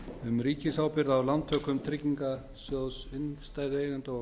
um ríkisábyrgð á lántökum tryggingarsjóðs innstæðueigenda og